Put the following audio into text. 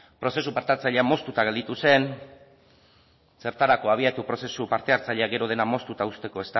prozesu parte hartzailea moztuta gelditu zen zertarako abiatu prozesu parte hartzailea gero dena moztuta uzteko